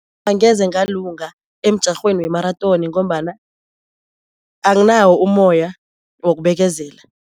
Angeze ngalunga emjarhweni wemarathoni ngombana anginawo umoya wokubekezela.